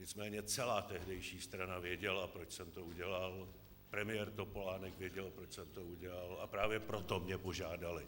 Nicméně celá tehdejší strana věděla, proč jsem to udělal, premiér Topolánek věděl, proč jsem to udělal, a právě proto mě požádali,